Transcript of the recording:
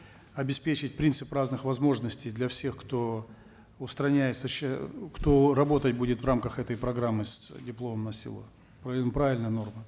обеспечить принцип разных возможностей для всех кто устраняет кто работать будет в рамках этой программы с дипломом на село правильная норма